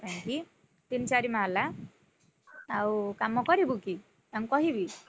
ପାଇଁକି, ତିନି ଚାରି ମହଲା। ଆଉ କାମ କରିବୁ କି? ତାଙ୍କୁ କହିବି?